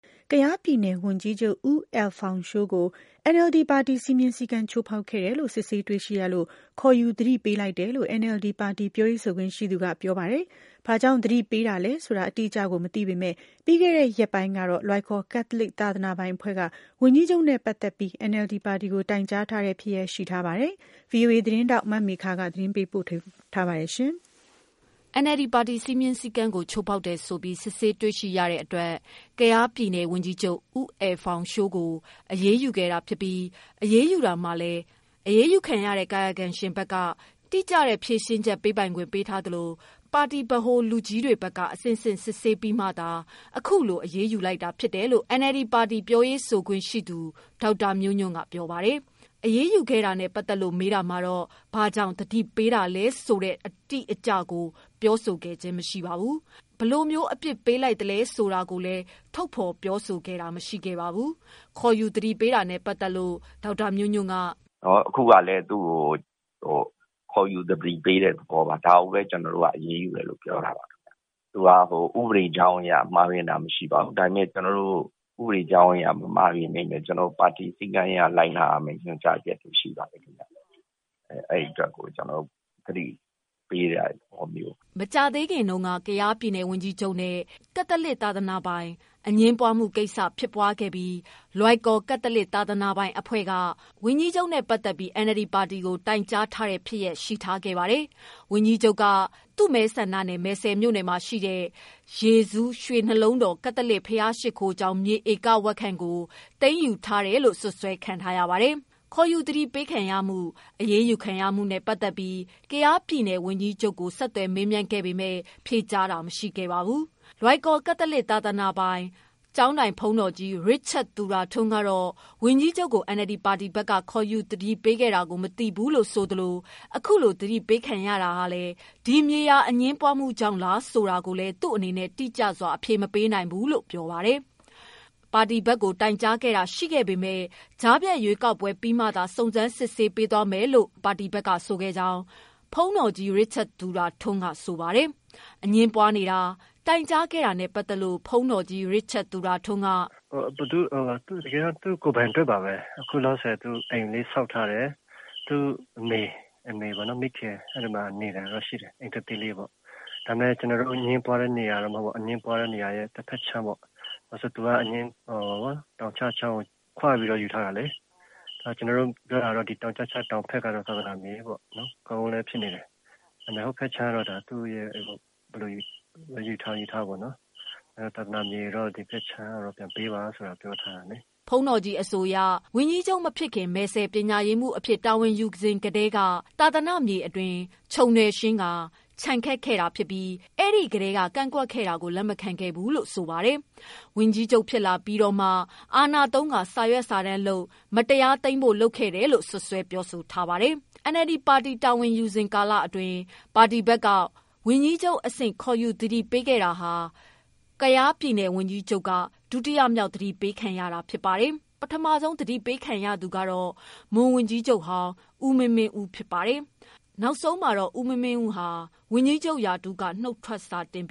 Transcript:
ကယားပြည်နယ် ဝန်ကြီးချုပ် ဦးအယ်လ်ဖောင်ရှိုး ကို NLD ပါတီစည်းမျဉ်း စည်းကမ်း ချိုးဖောက်ခဲ့တယ်လို့ စစ်ဆေးတွေ့ရှိရလို့ ခေါ်ယူသတိပေး လိုက်တယ်လို့ NLD ပါတီပြောရေးဆိုခွင့်ရှိသူ ကပြောပါတယ်။ ဘာကြောင့် သတိပေးတာလဲဆိုတဲ့ အတိအကျကို မပြောပါဘူး။ ဒါပေမယ့် ပြီးခဲ့တဲ့ရက်ပိုင်းကတော့ လွိုင်ကော် ကက်သလစ်သာသနာပိုင်အဖွဲ့က ဝန်ကြီးချုပ်နဲ့ပတ်သတ်ပြီး NLD ပါတီကိုတိုင်ကြားထားတဲ့ ဖြစ်ရပ် ရှိထားပါတယ်။ ဒီသတင်းကို ရန်ကုန်အခြေစိုက် ဗွီအိုအေသတင်းထောက်မေခကပေးပို့ထားတာပါ။ NLD ပါတီစည်းမျဉ်း စည်းကမ်းကိုချိုးဖောက်တယ်ဆိုပြီးစစ်ဆေးတွေ့ရှိရတဲ့အတွက် ကယားပြည်နယ် ဝန်ကြီးချုပ် ဦးအယ်လ်ဖောင်ရှိုး ကို အရေးယူခဲ့တာ ဖြစ်ပြီး အရေးယူတာမှာလည်း အရေးယူခံရတဲ့ ကာယကံရှင် အနေနဲ့ တိကျတဲ့ ဖြေရှင်းချက် ပေးပိုင်ခွင့်ပေးထားသလို ပါတီဗဟို လူကြီးတွေဘက်က အဆင့် ဆင့် စစ်ဆေးပြီးမှ အရေးယူလိုက်တာဖြစ်တယ်လို့ NLD ပါတီပြောရေးဆိုခွင့်ရှိသူ ဒေါက်တာမျိုးညွှန့်က ပြောပါတယ်။ အရေးယူခဲ့တာနဲ့ပတ်သတ်လို့ မေးတာမှာတော့ ဘာကြောင့် သတိပေးတာလဲဆိုတဲ့ အတိအကျကို မပြောပါဘူး။ ဘယ်လို အပြစ်ပေးလိုက်တာဆိုတာ လည်း ပြောဆိုတာမရှိခဲ့ပါဘူး။ ခေါ်ယူသတိပေးတာနဲ့ပတ်သတ်လို့ ဒေါက်တာမျိုးညွှန့်က "အခုကလည်းကျနော်တို့ခေါ်ယူသတိပေးတဲ့ သဘောပါ။ ဒါကိုဘဲအရေးယူတယ်ပြောတာပါ။ ဥပဒေကြောင်းအရမှားတာမရှိပါဘူး. ဒါပေမယ့် ပါတီစည်းမျဉ်းအရလိုက်နာရမယ့် ညွှန်ကြားချက်တွေရှိပါတယ်။ အဲတွက်သတိပေးတဲ့ သဘောပါ" မကြာသေးခင်တုန်းကတော့ ကယားဝန်ကြီးချုပ်နဲ့ ကက်သလစ်သာသနာပိုင် အငြင်းပွားမှုကိစ္စဖြစ်ပွားခဲ့ပြီး လွိုင်ကော် ကက်သလစ်သာသနာပိုင် အဖွဲ့က ဝန်ကြီးချုပ်နဲ့ပတ်သတ်ပြီး NLD ပါတီကိုတိုင်ကြားထားတဲ့ ဖြစ်ရပ် ရှိထားခဲ့ပါတယ်။ ဝန်ကြီးချုပ်က သူ့မဲဆန္ဒနယ် မယ်စဲမြိုှုနယ်ရှိ ယေဇူး ရွှေနှလုံး တော် ကက်သလစ် ဘုရားရှိခိုးကျောင်း မြေဧကဝက်ခန့်ကို သိမ်းယူထားတယ်လို့ စွပ်စွဲခံထားရပါတယ်။ ခေါ်ယူသတိပေးခံရမှု၊ အရေးယူခံရမှုနဲ့ပတ်သတ်ပြီး ကယားပြည်နယ်ဝန်ကြီးချုပ်ကို ဆက်သွယ်မေးမြန်းပေမယ့် ဖြေကြားတာမရှိခဲ့ပါဘူး။ လွိုင်ကော် ကက်သလစ်သာသနာပိုင် ကျောင်းထိုင် ဘုန်းတော်ကြီး ရစ်ချက်သူရထွန်းကတော့ ဝန်ကြီးချုပ်ကို NLD ပါတီဘက်က ခေါ်ယူသတိပေး ခဲ့တာကို မသိဘူးလို့ ဆိုသလို အခုလို သတိပေးခံရတာကလည်း ဒီမြေယာအငြင်းပွားမှုကြောင့် လားဆိုတာကိုလည်း သူ့အနေနဲ့ တိကျစွာအဖြေ မပေးနိုင်ဘူး လို့ပြောပါတယ်။ ပါတီဘက်ကို တိုင်ကြားခဲ့တာရှိခဲ့ပေမယ့် ကြားဖြတ်ရွေးကောက်ပွဲ ပြီးမှသာ စုံစမ်းစစ်ဆေးပေးသွားမယ်လို့ ပါတီဘက်က ပြောခဲ့ကြောင်ဘုန်းတော်ကြီး ရစ်ချက်သူရထွန်းက ဆိုပါတယ်။ အငြင်းပွားနေတာ၊ တိုင်ကြားခဲ့တာနဲ့ပတ်သတ်လို့ ဘုန်းတော်ကြီး ရစ်ချက်သူရထွန်းက "တကယ်တော့ သူ့ကိုယ်ပိုင်အတွက်ပါဘဲ။ အခုလောလောဆယ်က အိမ်လေးဆောက်ထားတယ်။ သူ့အမေ မိခင်အဲမှာနေတာတော့ရှိတယ်။ ကျနော်တို့အငြင်းပွားတဲ့နေရာတဖက်ခြမ်းပေါ့။ သူကတောင်ကျချောင်းကိုခွပြီးယူထားတာလေ။ ကျနော်တို့ပြောတာကတော့ တောင်ကျချောင်းတောင်ဘက်က သာသနာမြေပေါ့။ တခြားဘက်ခြမ်းတော့ယူချင်ယူပေါ့။ တောင်ဘက်က သာသနာမြေမို့ ပြန်ပေးပါလို့တော့ ပြောထားပါတယ်" ဘုန်းတော်ကြီး အဆိုအရ ဝန်ကြီးချုပ်မဖြစ်ခင် မယ်စဲ့ ပညာရေးမှုး အဖြစ်တာဝန်ယူစဉ်ကတည်းက သာသနာမြေ အတွင်း ခြုံနွယ်ရှင်းကာ ခြံခတ် ခဲ့တာဖြစ်ပြီး အဲထဲက ကန့်ကွက်တာကို လက်မခံခဲ့ဘူးလို့ ဆိုပါတယ်။ ဝန်ကြီးချုပ်ဖြစ်လာပြီးမှာတော့ အာဏာသုံးကာ စာရွက်စာတမ်းလုပ်ကာ မတရား သိမ်းဖို့လုပ်ခဲ့တယ်လို့ စွပ်စွဲပြောဆိုထားပါတယ်။ NLD ပါတီ တာဝန်ယူနေစဉ် ကာလအတွင်း ပါတီဘက်က ဝန်ကြီးချုပ် အဆင့်ခေါ်ယူ သတိပေးခဲ့တာ ကယားဝန်ကြီးချုပ်က ဒုတိယမြောက်သတိပေးခံ ရသူဖြစ်ကာ ပထမဆုံး သတိပေးအရေးယူခံရသူကတော့ မွန်ဝန်ကြီးချုပ်ဟောင်း ဦးမင်းမင်းဦးဖြစ်ပါတယ်။ နောက်ဆုံးမှာတော့ ဦးမင်းမင်းဦးက နုတ်ထွက် စာတင်ပ